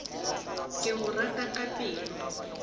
ke go rata ka pelo